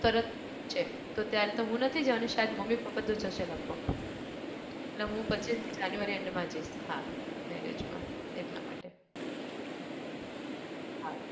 તરત જ છે તો ત્યારે તો હું નથી જવાની શાયદ મમ્મી પપ્પા તો જશે લગભગ અને હું પચ્ચીસમી january end માં જઈશ હા marriage માં એટલા માટે હા